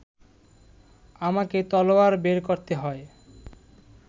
আমাকে তলোয়ার বের করতে হয়